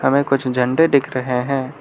वहीं कुछ झंडे दिख रहे हैं।